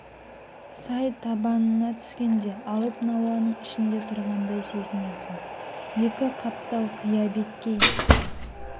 сай табанына түскенде алып науаның ішінде тұрғандай сезінесңң екі қаптал қия беткей